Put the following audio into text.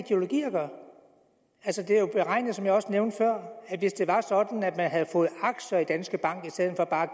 gøre som jeg også nævnte før at hvis det var sådan at man havde fået aktier i danske bank i stedet for bare